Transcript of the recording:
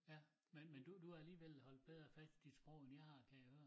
Ja men men du du har alligevel holdt bedre fast i dit sprog end jeg har kan jeg høre